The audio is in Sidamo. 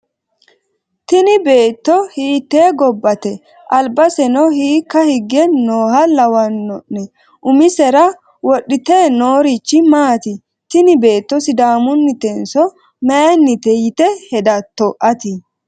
Tini beeto hiite gobatte albaseno hiika higge nooha lawanone umisera wodhite noorichi maati tini beeto sidaamunitenso mayiinite yite hedatto ati?